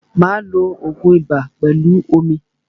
Máa lo ògun ibà pẹlú omi.